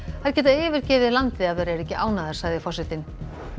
þær geta yfirgefið landið ef þær eru ekki ánægðar sagði forsetinn